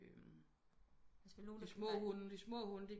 De små hunde de små hunde